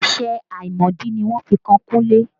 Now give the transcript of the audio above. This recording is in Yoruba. Ẹ̀sẹ̀ àìmọ̀dí ni wọ́n fi kan Kunle